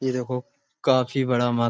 ये देखो काफी बड़ा म --